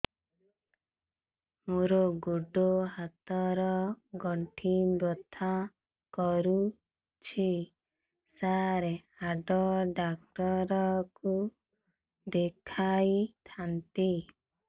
ମୋର ଗୋଡ ହାତ ର ଗଣ୍ଠି ବଥା କରୁଛି ସାର ହାଡ଼ ଡାକ୍ତର ଙ୍କୁ ଦେଖାଇ ଥାନ୍ତି